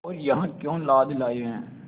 और यहाँ क्यों लाद लाए हैं